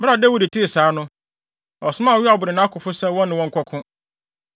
Bere a Dawid tee saa no, ɔsomaa Yoab ne nʼakofo sɛ wɔne wɔn nkɔko.